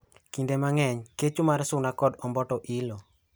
Kinde mang'eny kecho mar suna kod omboto ilo.